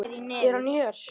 Er hann hér?